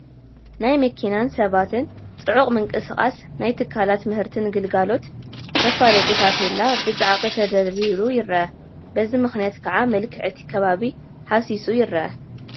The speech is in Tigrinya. ናይ መኪናን ሰባትን ፅዑቕ ምንቅስቓስ ናይ ትካላት ምህርትን ግልጋሎትን መፋለጢ ታፔላ ብፃዕቒ ተደርዲሩ ይርአ፡፡ በዚ ምኽንያት ከዓ መልክዕ እቲ ከባቢ ሃሲሱ ይርአ፡፡